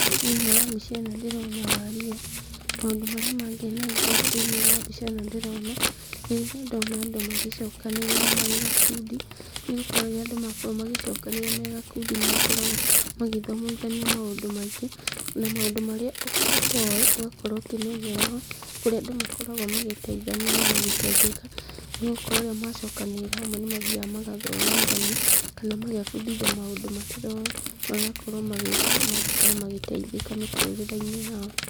Thĩinĩ wa mbica ĩno ndĩrona waria, maũndũ marĩa mangenagia thĩinĩ wa mbica ĩno ndĩrona, nĩ rĩrĩa ndona andũ magĩcokanĩrĩra marĩ gakundi, nĩgũkorwo rĩrĩa andũ makorwo magĩcokanĩrĩra marĩ gakundi, nĩ makoragwo magĩthomithania maũndũ maingĩ, na maũndũ marĩa ũtoĩ, ũgakorwo ũkĩmenyera ho, kũrĩa andũ makoragwo magĩteithania na magĩteithĩka, nĩ gũkorwo rĩrĩa macokanĩrĩra hamwe nĩ mathiaga magathomithania, kana magebundithia maũndũ mataroĩ magakorwo magĩka, magakorwo magĩteithĩka mĩtũrĩre-inĩ yao.